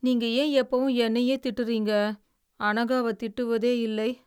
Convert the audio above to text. நீங்க ஏன் எப்பவும் என்னையே திட்டுறீங்க, அணுகாவை திட்டுவதே இல்லை?